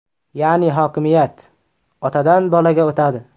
Ya’ni hokimiyat otadan bolaga o‘tadi.